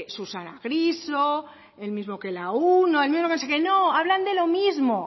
susana griso el mismo que la uno el mismo de no sé qué no hablan de lo mismo